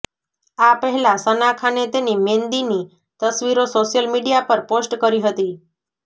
આ પહેલા સના ખાને તેની મેંદીની તસવીરો સોશિયલ મીડિયા પર પોસ્ટ કરી હતી